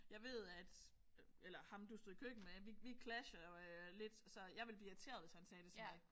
Jeg ved at øh eller ham du stod i køkkenet med vi vi clasher øh lidt så jeg ville blive irriteret hvis han sagde det til mig